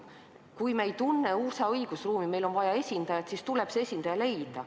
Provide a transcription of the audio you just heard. Kui me ei tunne USA õigusruumi ja meil on vaja esindajat, siis tuleb see esindaja leida.